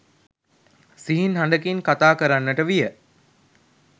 සිහින් හඬකින් කථා කරන්නට විය